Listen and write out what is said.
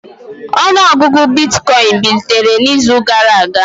Ọnụ ọgụgụ bitcoin bilitere n'izu gara aga